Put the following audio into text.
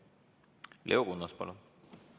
Leo Kunnas, palun!